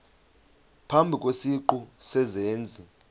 phambi kwesiqu sezenzi